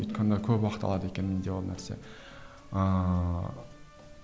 өйткені көп уақыт алады екен менде ол нәрсе ыыы